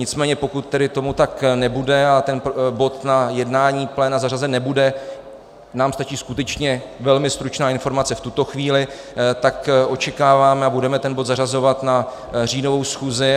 Nicméně pokud tedy tomu tak nebude a tento bod na jednání pléna zařazen nebude, nám stačí skutečně velmi stručná informace v tuto chvíli, tak očekáváme a budeme ten bod zařazovat na říjnovou schůzi.